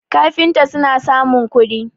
kafinta suna samun kudi